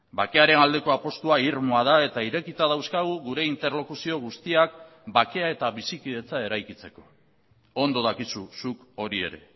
bakearen aldeko apustua irmoa da eta irekita dauzkagu gure interlokuzio guztiak bakea eta bizikidetza eraikitzeko ondo dakizu zuk hori ere